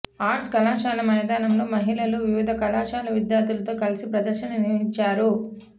arts కళాశాల మైదానంలో మహిళలు వివిధ కళాశాల విద్యార్థులతో కలిసి ప్రదర్శన నిర్వహించారు